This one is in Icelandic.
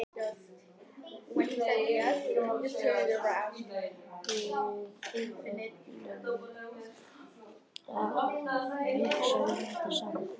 En við erum öll að hugsa um þetta sama.